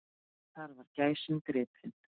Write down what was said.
Þar var gæsin gripin.